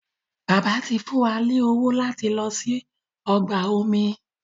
Bàbá tí fún wá ní owo lati ló sì ọgbà omi